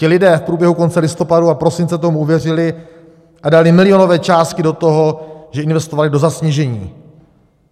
Ti lidé v průběhu konce listopadu a prosince tomu uvěřili a dali milionové částky do toho, že investovali do zasněžení.